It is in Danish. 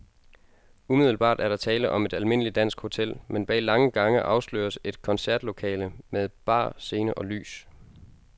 Umiddelbart er der tale om et almindeligt dansk hotel, men bag lange gange afsløres et koncertlokale med bar, scene og lys.